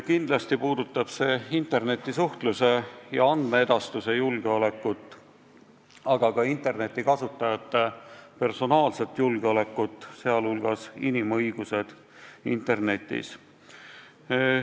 Kindlasti puudutab see internetisuhtluse ja andmeedastuse julgeolekut, aga ka internetikasutajate personaalset julgeolekut, sh seda, et inimõigused peavad kehtima ka internetis.